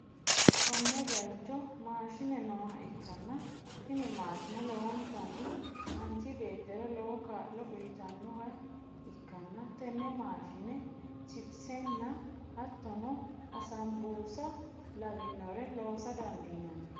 konne bayicho maashine nooha ikkanna, tini maashine lowontanni manchi beettira lowo kaa'lo uytannoha ikkanna, tenne maashinenni chipisenna hattono assanbursa lawinore loosa dandiinanni.